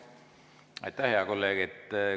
Aitäh, hea kolleeg!